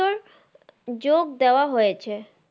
যোগ দেওয়া হয়েছে।